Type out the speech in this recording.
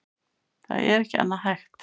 Það er ekki annað hægt